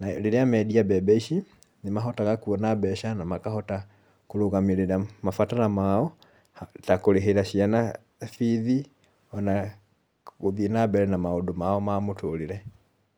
na rĩrĩa mendia mbembe ici nĩ mahotaga kwona mbeca na makahota kũrũgamĩrĩra mabataro mao, ta kũrĩhĩra ciana bithi ona gũthiĩ na mbere na maũndũ mao ma mũtũrĩre.